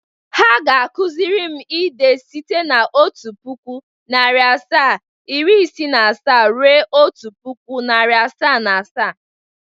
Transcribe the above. Ha ga-akụzịrịm ide site n' otu puku, nari asaa, iri isii na asaa ruo otu puku, nari asaa na asaa.